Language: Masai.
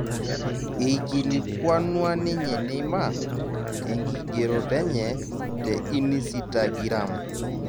eikilikuanua ninye Neymar tenkigeroto enye te inisitagiram